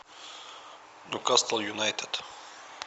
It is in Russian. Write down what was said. ньюкасл юнайтед